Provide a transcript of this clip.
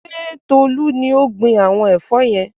Ṣé Tolú ni ó gbin àwọn ẹ̀fọ́ yẹn?